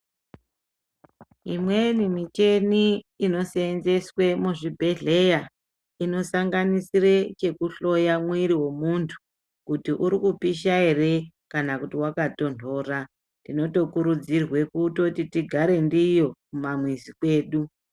Imweni micheni inoseenzeswe muzvibhedhleya, inosanganisire chekuhloya mwiri womuntu ,kuti uri kupisha ere, kana kuti wakatonhora. Tinotokurudzirwe kutoti tigare ndiyo kumamizi kwedu.